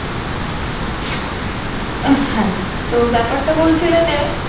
আহ হ্যাঁ তো ব্যাপারটা বলছিলো যে